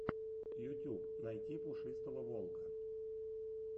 ютюб найти пушистого волка